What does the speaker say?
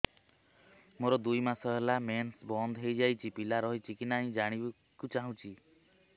ମୋର ଦୁଇ ମାସ ହେଲା ମେନ୍ସ ବନ୍ଦ ହେଇ ଯାଇଛି ପିଲା ରହିଛି କି ନାହିଁ ଜାଣିବା କୁ ଚାହୁଁଛି